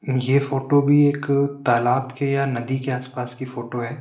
ये फोटो भी एक तालाब के या नदी के आसपास की फोटो है।